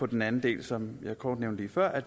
den anden del som jeg kort nævnte før at